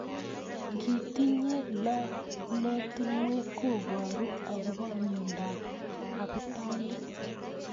Ngitinyei lolotunwek koboru akobo mnyendo ab abutanik.